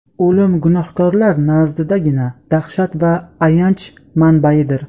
O‘lim gunohkorlar nazdidagina dahshat va ayanch manbaidir!.